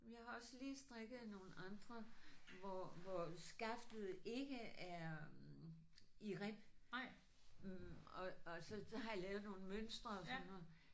Jeg har også lige strikket nogle andre hvor hvor skaftet ikke er i rib og og så har jeg lavet nogle mønstre og sådan noget